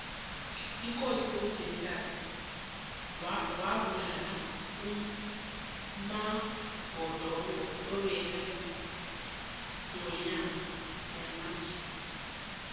ikosi umzilikazi wabulala umagodongo obekayingwenyama yamanzunza